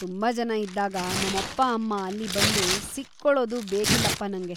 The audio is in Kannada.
ತುಂಬಾ ಜನ ಇದ್ದಾಗ ನಮ್ಮಪ್ಪ-ಅಮ್ಮ ಅಲ್ಲಿ ಬಂದು ಸಿಕ್ಕೊಳೋದು ಬೇಕಿಲ್ಲಪ್ಪ ನಂಗೆ.